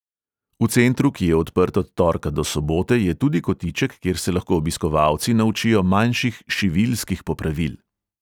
V centru, ki je odprt od torka do sobote, je tudi kotiček, kjer se lahko obiskovalci naučijo manjših šiviljskih popravil.